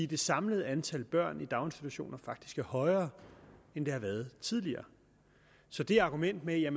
det samlede antal børn i daginstitutioner faktisk er højere end det har været tidligere så det argument med at